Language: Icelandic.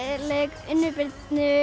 leik Unni Birnu